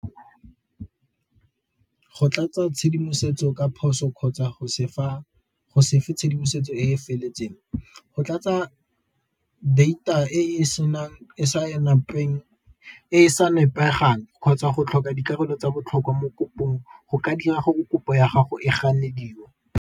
Go tlatsa tshedimosetso ka phoso kgotsa go se fe tshedimosetso e e feletseng. Go tlatsa data e e sa nepegang kgotsa go tlhoka dikarolo tsa botlhokwa mo kopong go ka dira gore kopo ya gago e ganediwe.